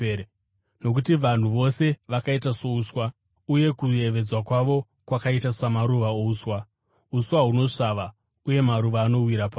Nokuti, “Vanhu vose vakaita souswa, uye kuyevedza kwavo kwakaita samaruva ouswa; uswa hunosvava uye maruva anowira pasi,